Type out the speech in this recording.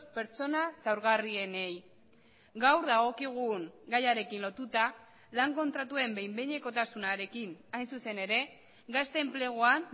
pertsona zaurgarrienei gaur dagokigun gaiarekin lotuta lan kontratuen behin behinekotasunarekin hain zuzen ere gazte enpleguan